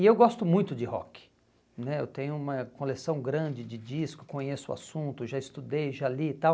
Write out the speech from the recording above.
E eu gosto muito de rock né, eu tenho uma coleção grande de discos, conheço o assunto, já estudei, já li e tal.